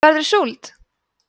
verður súld